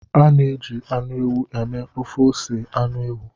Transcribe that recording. A na-eji anụ ewu mee ofe ose anụ ewu.